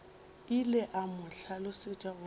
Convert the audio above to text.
ile a mo hlalosetša gore